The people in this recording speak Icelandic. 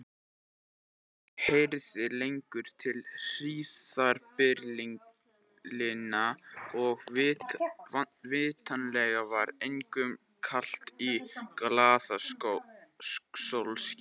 Enginn heyrði lengur til hríðarbyljanna og vitanlega var engum kalt í glaða sólskininu.